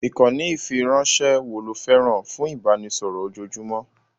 Ìkànnì ìfiránṣẹ́ wo lo fẹ́ràn fún ìbánisọ̀rọ̀ ojoojúmọ́?